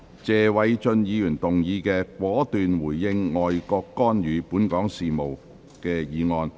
謝偉俊議員動議的"果斷回應外國干預本港事務"議案。